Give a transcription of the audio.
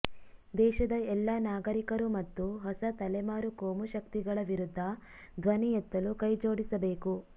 ದೇಶದ ಎಲ್ಲ ನಾಗರಿಕರು ಮತ್ತು ಹೊಸ ತಲೆಮಾರು ಕೋಮುಶಕ್ತಿಗಳ ವಿರುದ್ಧ ಧ್ವನಿ ಎತ್ತಲು ಕೈಜೋಡಿಸಬೇಕು